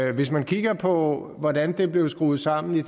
hvis man kigger på hvordan det blev skruet sammen i